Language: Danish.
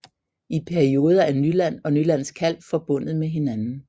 I perioder er Nyland og Nylands Kalv forbundet med hinanden